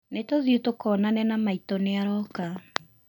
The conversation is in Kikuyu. Nĩ tũthiĩ tũkonane na maitũ nĩaroka